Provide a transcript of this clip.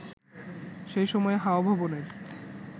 সেই সময় হাওয়া ভবনের